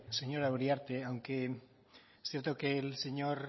señora uriarte aunque es cierto que el señor